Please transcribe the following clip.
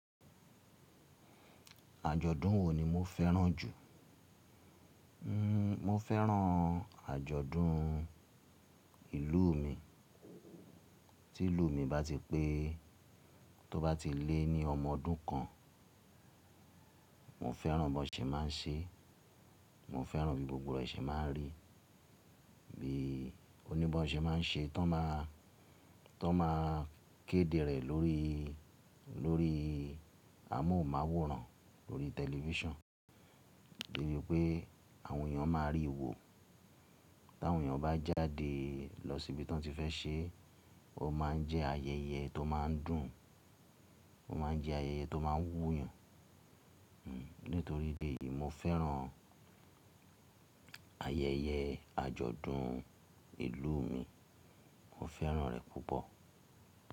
Àjọ̀dún wo ni mo fẹ́ràn jù? Mo fẹ́ràn àjọ̀dún ìlú mi. Tí ìlú mi bá ti pé, tó bá ti lé ní ọmọ ọdún kan. Mo fẹ́ràn b'wọ́n ṣe má a ń ṣe, mo fẹ́ràn bí gbogbo rẹ̀ ṣe má a ń rí. Bí oní bá ṣe má a ń ṣe, tó má a kéde rẹ̀ lórí, lórí a móhùnmáwòran lórí television. Eyiun pé àwọn èèyàn máa ríi wo. Tí àwọn èèyàn bá jáde lọ síbi tí wọ́n ti fẹ́ ṣe, ó má a ń jẹ́ ayẹyẹ tó má a ń dùn, ó má a ń jẹ́ ayẹyẹ tó má a ń wú yàn. Nítorí ìdí èyí, mo fẹ́ràn ayẹyẹ àjọ̀dún ìlú mi. Mo fẹ́ràn rẹ̀ púpọ̀.